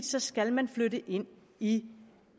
så skal man flytte ind i